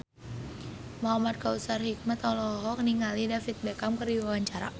Muhamad Kautsar Hikmat olohok ningali David Beckham keur diwawancara